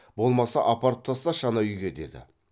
болмаса апарып тасташы анау үйге деді